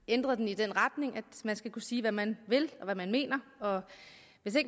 ændret den i den retning at man skal kunne sige hvad man vil og hvad man mener og hvis